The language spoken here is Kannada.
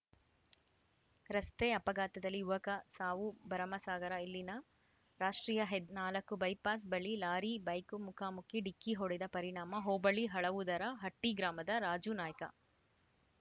ರಸ್ತೆ ಅಪಘಾತದಲ್ಲಿ ಯುವಕ ಸಾವು ಭರಮಸಾಗರ ಇಲ್ಲಿನ ರಾಷ್ಟ್ರೀಯ ಹೆದ್ ನಾಲ್ಕು ಬೈಪಾಸ್‌ ಬಳಿ ಲಾರಿ ಬೈಕ ಮುಖಾಮುಖಿ ಡಿಕ್ಕಿ ಹೊಡೆದ ಪರಿಣಾಮ ಹೋಬಳಿ ಹಳವುದರ ಹಟ್ಟಿಗ್ರಾಮದ ರಾಜೂ ನಾಯ್ಕ